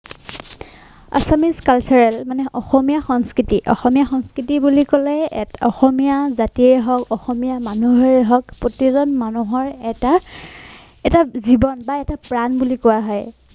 Assamese cultural মানে অসমীয়া সংস্কৃতি অসমীয়া সংস্কৃতি বুলি কলে অসমীয়া জাতিয়েই হওক অসমীয়া মানুহেই হওক প্ৰতিজন মানুহৰ এটা এটা জীৱন বা এটা প্ৰাণ বুলি কোৱা হয়